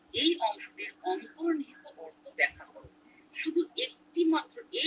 এই অংশটির অন্তর্নিহিত অর্থ ব্যাখ্যা করো শুধু একটু মাত্র